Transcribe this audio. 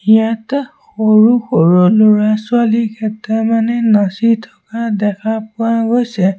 ইয়াত সৰু সৰু ল'ৰা-ছোৱালী কেতামানে নাচি থকা দেখা পোৱা গৈছে।